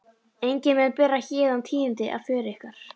Enginn mun bera héðan tíðindi af för ykkar.